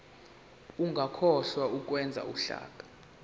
ungakhohlwa ukwenza uhlaka